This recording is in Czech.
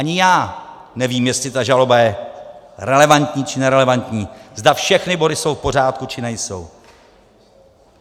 Ani já nevím, jestli ta žaloba je relevantní, či nerelevantní, zda všechny body jsou v pořádku, či nejsou.